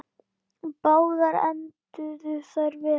Báðar enduðu þær vel.